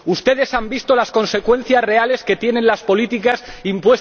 Ustedes han visto las consecuencias reales que tienen las políticas impuestas por la Troika.